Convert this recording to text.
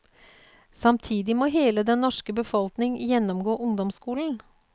Samtidig må hele den norske befolkning gjennomgå ungdomsskolen.